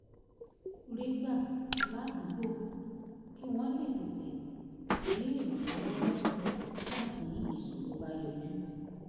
rí gbà ládùúgbò kí wọ́n lè tètè rí ìrànlọ́wọ́ gbà nígbà tí ìṣòro bá yọjú